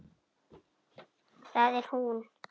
Það er hún!